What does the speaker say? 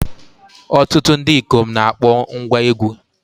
Ọtụtụ ndị ikom na-akpọ ngwá egwú.